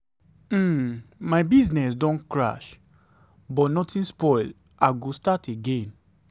um my business don crash but nothing spoil i go start again.